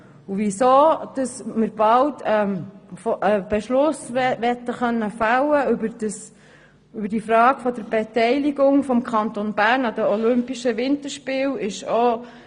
Weshalb wollen wir bald einen Beschluss über die Frage der Beteiligung des Kantons Bern an den olympischen Winterspielen fällen können?